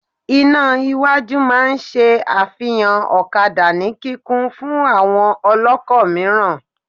Iná iwájú máa n ṣe àfihàn ọ̀kadà ní kíkún fún àwọn ọlọ́kọ̀ mìíràn